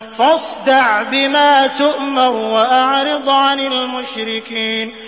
فَاصْدَعْ بِمَا تُؤْمَرُ وَأَعْرِضْ عَنِ الْمُشْرِكِينَ